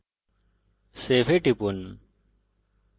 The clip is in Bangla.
save এ টিপুন